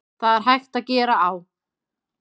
Það er hægt að gera á